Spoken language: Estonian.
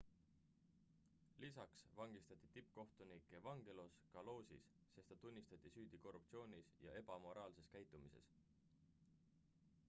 lisaks vangistati tippkohtunik evangelos kalousis sest ta tunnistati süüdi korruptsioonis ja ebamoraalses käitumises